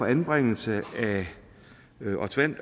anbringelse